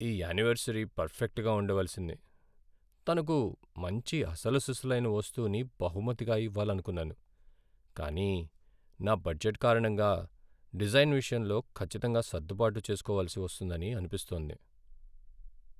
ఈ యానివర్సరీ పర్ఫెక్ట్గా ఉండవలసింది, తనకు మంచి అసలుసిసలైన వస్తువును బహుమతిగా ఇవ్వాలనుకున్నాను. కానీ నా బడ్జెట్ కారణంగా డిజైన్ విషయంలో ఖచ్చితంగా సర్దుబాటు చేస్కోవలసి వస్తుందని అనిపిస్తోంది.